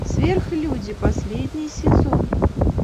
сверхлюди последний сезон